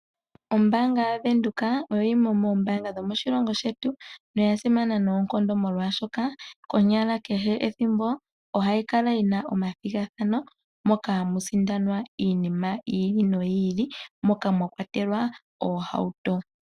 Ombaanga yaVenduka oyo yimwe yomoombanga dhomoshilongo shetu noya simana oshoka kehe ethimbo ohayi kala yi na omathigathano moka hamu sindanwa iinima ya yooloka ngaashi oohauto.